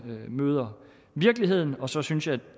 møder virkeligheden og så synes jeg